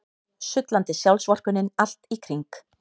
Sullandi sjálfsvorkunnin allt í kring.